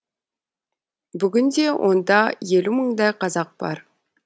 бүгінде онда елу мыңдай қазақ бар